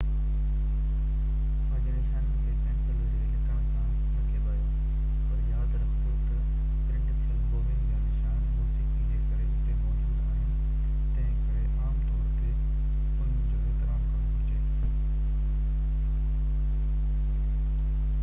پنهنجي نشانين کي پينسل ذريعي لکڻ کان نه ڪيٻايو پر ياد رکجو ته پرنٽ ٿيل بوونگ جا نشان موسيقي جي ڪري اتي موجود آهن تنهن ڪري عام طور تي انهن جو احترام ڪرڻ گهرجي